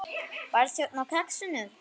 Barþjónn á Kexinu?